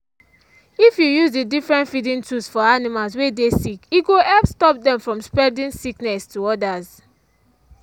if you use dey different feeding tools for animals were dey sick e go help stop dem from spreading sickness to others.